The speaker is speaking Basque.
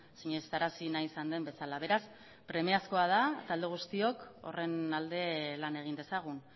sinestarazi nahi izan den bezala beraz premiazkoa da talde guztiok horren alde lan egin dezagun